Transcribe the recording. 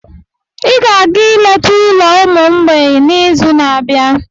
Ị ga-aga ileta ụlọ ụmụ mgbei n'izu na-abịa.